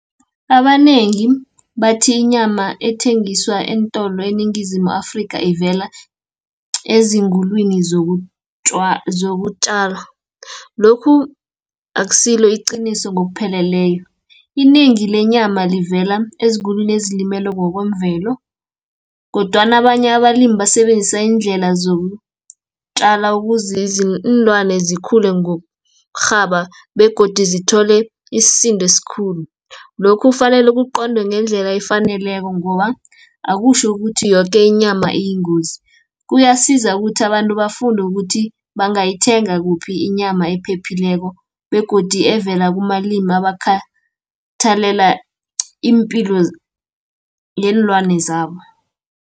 Abanengi bathi inyama ethengiswa eentolo eNingizimu Afrika ivela ezingulwimi zokutjala, lokhu akusilo iqiniso ngokupheleleyo. Inengi lenyama livela ezigulwini ezilimele ngokwemvelo, kodwana abanye abalimi basebenzisa iindlela zokutjala ukuze iinlwane zikhule ngokurhaba, begodu zithole isindo esikhulu. Lokhu kufanele kuqondwe ngendlela efaneleko ngoba, akutjho ukuthi yoke inyama iyingozi. Kuyasiza ukuthi abantu bafunde ukuthi bangayithenga kuphi inyama ephephileko, begodi evela kumalimi abakhathela iimpilo yeenlwane zabo.